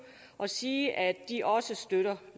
og sige at de også støtter